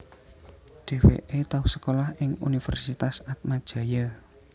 Dheweke tau sekolah ing Universitas Atmajaya